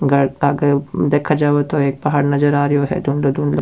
देखा जावे तो एक पहाड़ नजर आ रियो है धुंधला-धुंधलो --